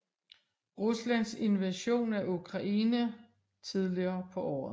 Ruslands invasion af Ukraine tidligere på året